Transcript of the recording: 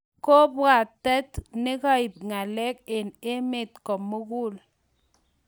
kabwatet negaip ngaleg en emet komugul